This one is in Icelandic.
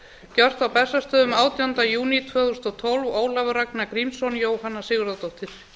gjört á bessastöðum átjánda júní tvö þúsund og tólf ólafur ragnar grímsson jóhanna sigurðardóttir